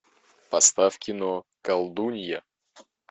поставь кино колдунья